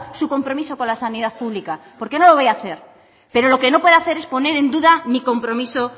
su compromiso con la sanidad pública porque no lo voy a hacer pero lo que no puede hacer es poner en duda mi compromiso